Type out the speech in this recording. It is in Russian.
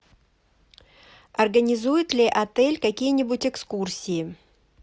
организует ли отель какие нибудь экскурсии